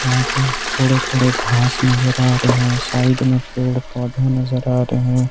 यहां पे थोड़े थोड़े घास नजर आ रहे हैं साइड में पेड़ पौधे नजर आ रहे हैं।